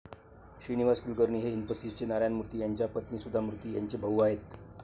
श्रीनिवास कुलकर्णी हे इन्फोसिसचे नारायण मूर्ती यांच्या पत्नी सुधा मूर्ती यांचे भाऊ आहेत.